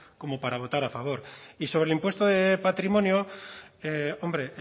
como para votar a favor y sobre el impuesto de patrimonio hombre